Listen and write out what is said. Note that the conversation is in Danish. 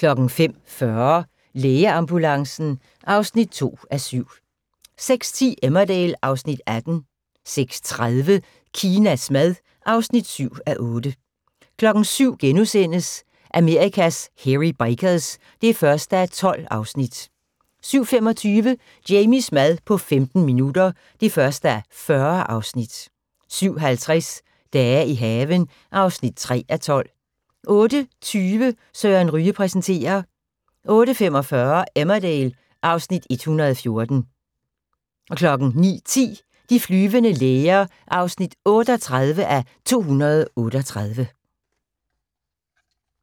05:40: Lægeambulancen (2:7) 06:10: Emmerdale (Afs. 18) 06:30: Kinas mad (7:8) 07:00: Amerikas Hairy Bikers (1:12)* 07:25: Jamies mad på 15 minutter (1:40) 07:50: Dage i haven (3:12) 08:20: Søren Ryge præsenterer 08:45: Emmerdale (Afs. 114) 09:10: De flyvende læger (38:238)